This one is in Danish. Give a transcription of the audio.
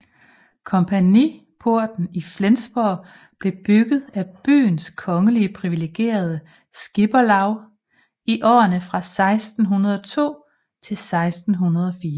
Kompagniporten i Flensborg blev bygget af byens kongeligt priviligerede skipperlaug i årene fra 1602 til 1604